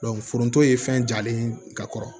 foronto ye fɛn jalen ye ka kɔrɔ